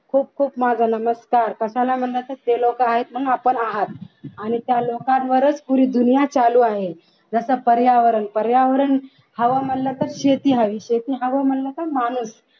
खूप खूप माझा नमस्कार कशाला म्हटले तर ते लोक आहेत म्हणून आपण आहात आणि त्या लोकांवरच पूरी दुनिया चालू आहे पर्यावरण पर्यावरण हव म्हणलं तर शेती हवी शेती हवी म्हणलं तर माणूस